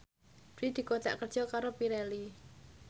Dwi dikontrak kerja karo Pirelli